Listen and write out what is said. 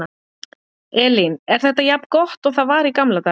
Elín: Er þetta jafn gott og það var í gamla daga?